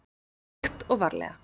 Hægt og varlega.